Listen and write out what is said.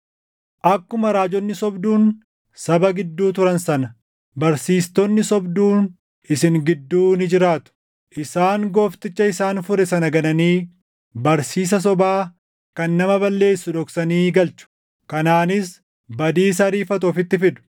Akkuma raajonni sobduun saba gidduu turan sana, barsiistonni sobduun isin gidduu ni jiraatu. Isaan Goofticha isaan fure sana gananii, barsiisa sobaa kan nama balleessu dhoksanii galchu; kanaanis badiisa ariifatu ofitti fidu.